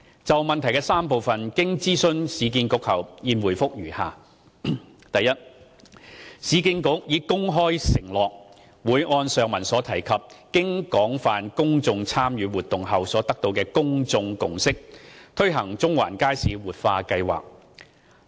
就質詢的3個部分，經諮詢市建局後，現答覆如下：一市建局已公開承諾，會按上文提及經廣泛公眾參與活動後所得的公眾共識，推行中環街市活化計劃。